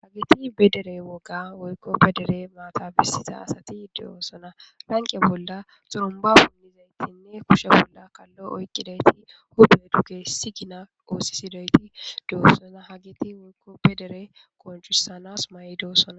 hageti bedere woga woykko bedere maatabisita asati diyoosona lanqee bolla xurumba punnizaytinne kushe bolla kallo oyqqidayti hube dugge sigina oosisidoyti doossoza hagiti woykko bedere konjusanas ma7i doosona